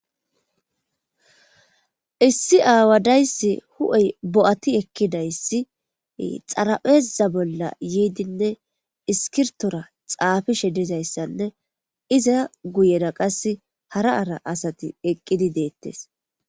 Issi away huphphe bo'ati ekidayssi xarapheza bolla yiddinne iskirptora xafishshe dizayssane iza guyera qasse hara asati eqqidi dettess.